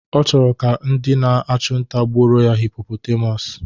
Ọ chọrọ ka ndị na-achụ nta gbuoro ya hipopotamus